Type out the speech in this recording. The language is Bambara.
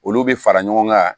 Olu bɛ fara ɲɔgɔn kan